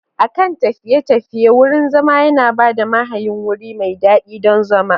A kan tafiye-tafiye, wurin zama yana ba mahayin wuri mai daɗi don zama.